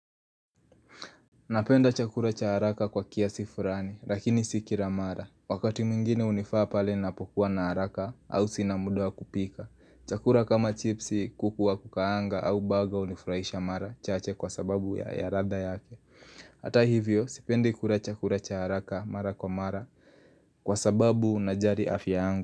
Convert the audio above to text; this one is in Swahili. Napenda chakula cha haraka kwa kiasi furani lakini si kila mara Wakati mwingine unifaa pale napokuwa na haraka au sina muda wa kupika Chakula kama chipsi kukuwa kukaanga au baga unifraisha mara chache kwa sababu ya yaradha yake Ata hivyo sipendi kura chakura cha haraka mara kwa mara Kwa sababu najari afya yangu.